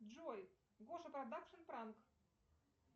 джой гоша продакшн пранк